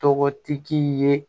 Tɔgɔtigi ye